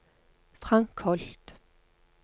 Frank Holth